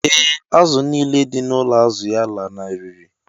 Ee, azụ̀ nile dị n’ụlọ azụ̀ ya lanarịrị.